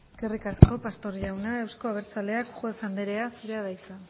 eskerrik asko pastor jauna euzko abertzaleak juez anderea zurea da hitza